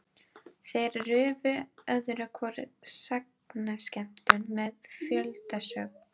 Þeir rufu öðru hvoru sagnaskemmtun með fjöldasöng.